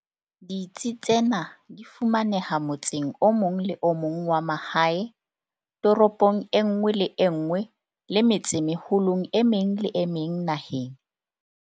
Ditsi tsena di fumaneha motseng o mong le o mong wa mahae, toropong e nngwe le e nngwe le metsemeholong e meng le e meng naheng.